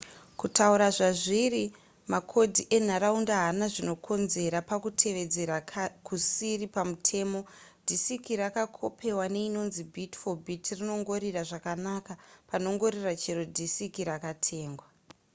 kutaura zvazviri makodhi enharaunda haana zvanokonzera pakutevedzera kusiri pamutemo disiki rakakopewa neinonzi bit-for-bit rinongorira zvakanaka panongorira chero dhisiki rakatengwa